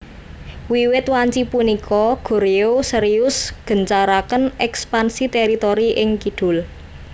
Wiwit wanci punika Goryeo serius gancaraken ekpansi teritori ing kidul